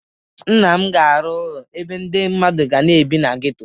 Nna m ga-arụ ụlọ ebe ndị mmadụ ga-ebi na geto.